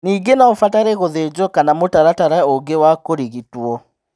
Ningĩ no ũbatare gũthĩnjwo kana mũtaratara ũngĩ wa kũrigitwo.